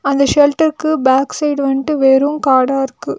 இந்த ஷெல்டர்க்கு back side வன்டு வெறு காடா இருக்கு.